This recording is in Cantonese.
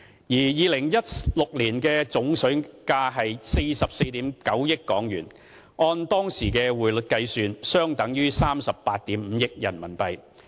2016年的總水價是44億 9,000 萬港元，按當時匯率計算，相等於38億 5,000 萬元人民幣。